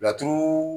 Laturu